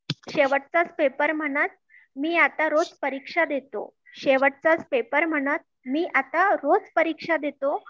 शेवटचा च पेपर म्हणतं मी आत्ता रोज परीक्षा देतो